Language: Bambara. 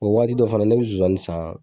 Mɛ wagat dɔ fɛnɛ ne bezonzani san